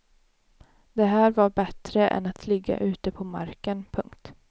Det här var bättre än att ligga ute på marken. punkt